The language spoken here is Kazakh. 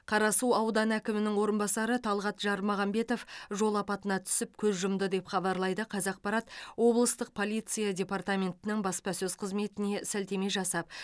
қарасу ауданы әкімінің орынбасары талғат жармағамбетов жол апатына түсіп көз жұмды деп хабарлайды қазақпарат облыстық полиция департаментінің баспасөз қызметіне сілтеме жасап